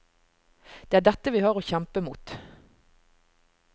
Det er dette vi har å kjempe mot.